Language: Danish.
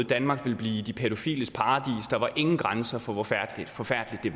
danmark ville blive de pædofiles paradis der var ingen grænser for hvor forfærdeligt det